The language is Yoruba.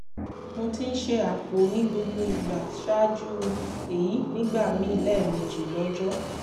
mo ti ń ṣe àpò ní gbogbo ìgbà ṣáájú èyí nígbà míì lẹ́ẹ̀mejì lọ́jọ́